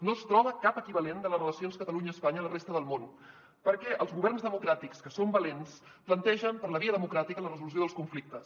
no es troba cap equivalent de les relacions catalunya espanya a la resta del món perquè els governs democràtics que són valents plantegen per la via democràtica la resolució dels conflictes